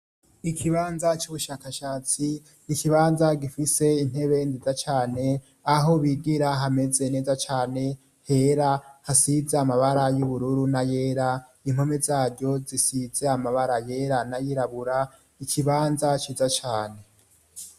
Ikibanza c'ubushakashatsi. Ikibanza gifise intebe neza cane aho bigira hameze neza cane hera hasize amabara y'ubururu n'ayera impome zaryo zisize amabara yera n'ayirabura ikibanza ciza cane.